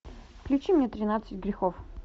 включи мне тринадцать грехов